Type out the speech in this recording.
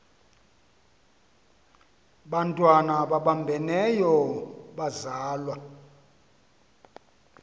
bantwana babambeneyo bazalwa